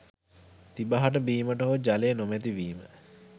තිබහට බීමට හෝ ජලය නොමැති වීම